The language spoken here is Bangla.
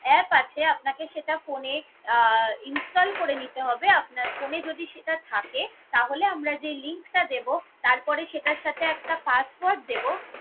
app আছে সেটাকে আপনার phone এ আহ install করে নিতে হবে। আপনার phone এ যদি সেটা থাকে তাহলে আমরা যে link টা দেব তারপরে সেটার সাথে একটা password দেব